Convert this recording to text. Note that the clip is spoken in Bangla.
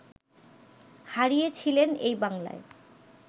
হারিয়ে ছিলেন এই বাংলায়